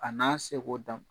A n'a seko dam